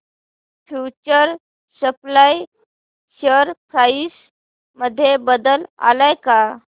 future supply share price मध्ये बदल आलाय का